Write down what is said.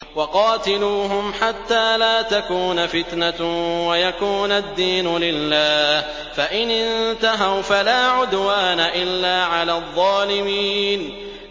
وَقَاتِلُوهُمْ حَتَّىٰ لَا تَكُونَ فِتْنَةٌ وَيَكُونَ الدِّينُ لِلَّهِ ۖ فَإِنِ انتَهَوْا فَلَا عُدْوَانَ إِلَّا عَلَى الظَّالِمِينَ